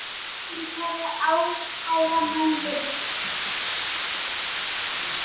Mín kæra, ástkæra móðir.